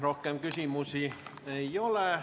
Rohkem küsimusi ei ole.